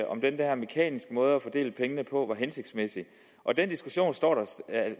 om den der mekaniske måde at fordele pengene på var hensigtsmæssig den diskussion